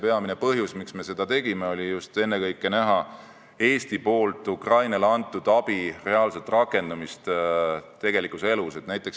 Peamine põhjus, miks me seda tegime, oli just ennekõike soov näha Eestilt Ukrainale antud abi reaalset rakendamist tegelikus elus.